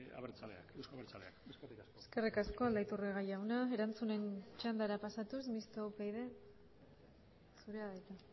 euzko abertzaleak eskerrik asko eskerrik asko aldaiturriaga jauna erantzunen txandara pasatuz mistoa upyd zurea da hitza